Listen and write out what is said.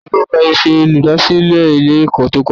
Tani o gba Ife olùdásílè Ilé èkó tí ó kojá?